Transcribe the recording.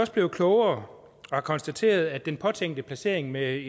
så blevet klogere og har konstateret at den påtænkte placering med